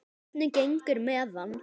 Hvernig gengur með hann?